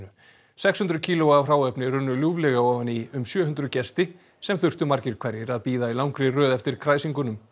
sex hundruð kíló af hráefni runnu ljúflega ofan í um sjö hundruð gesti sem þurftu margir hverjir að bíða í langri röð eftir kræsingunum